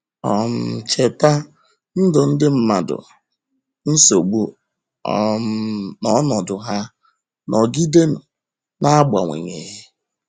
um Cheta, ndụ ndị mmadụ, nsogbu um na ọnọdụ ha, nọgidenu, na - agbanweghi.